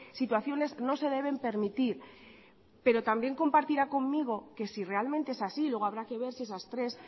situaciones no se deben permitir pero también compartirá conmigo que si realmente es así luego habrá que ver si esas tres